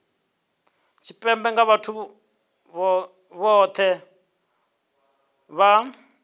tshipembe nga vhathu vhohe vha